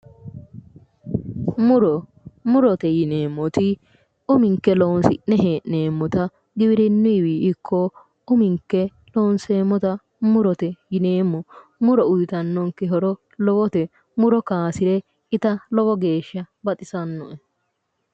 Muro murote yineemmoti uminke loosi'ne hee'neemmota giwirinnuyiiwi ikko uminke lonseemmota murote yineemmo muro uyiitannonke horo lowote muro kaasire ita lowo geeshsha baxisanno"e